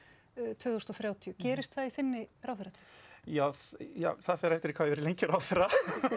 tvö þúsund og þrjátíu gerist það í þinni ráðherratíð já já það fer eftir hvað ég verð lengi ráðherra